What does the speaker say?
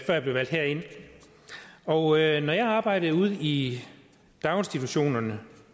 jeg blev valgt herind når jeg arbejdede ude i daginstitutionerne